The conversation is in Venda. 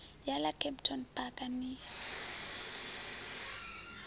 ya ḽa kempton park ni